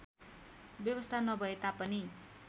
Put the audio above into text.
व्यवस्था नभए तापनि